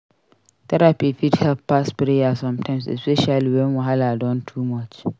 Therapy fit help pass prayer sometimes especially wen wahala don too much.